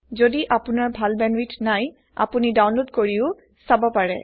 যদি আপোনাৰ ভাল বেন্দৱিথ নাই আপোনি ডাওনলোদ কৰিও চাব পাৰে